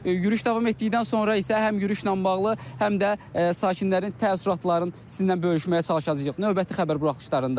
Yürüş davam etdikdən sonra isə həm yürüşlə bağlı, həm də sakinlərin təəssüratlarını sizinlə bölüşməyə çalışacağıq növbəti xəbər buraxılışlarında.